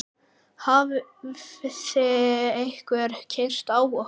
Hafði einhver keyrt á okkur?